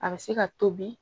A bɛ se ka tobi